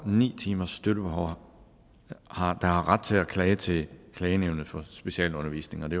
ni timers støttebehov der har ret til at klage til klagenævnet for specialundervisning og det